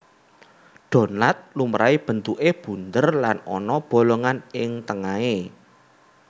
Donat lumrahé bentuké bunder lan ana bolongan ing tengahé